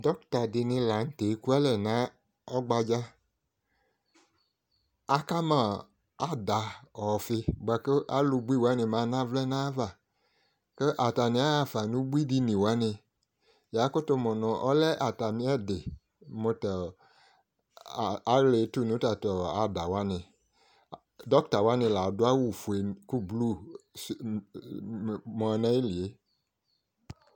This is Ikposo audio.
Doɔktadɩnɩ la n'tɛ ekua alɛ nʋ ɔgbadza Akama aada ɔfi bʋa k'slʋnui wanɩ manavlɛ n'ayava kʋ atanɩ aɣafa n'ubui diniwanɩ Yakʋtʋ mʋ nʋ alɛ atamɩ ɛdɩ mʋ tʋ aɣla etu nʋ tatʋ adawanɩ Dɔktawani ladʋ awʋ fue kʋ blu ma n'ayili yɛ